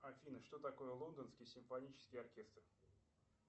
афина что такое лондонский симфонический оркестр